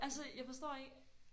Altså jeg forstår ikke